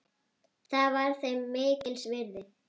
Það var þeim mikils virði.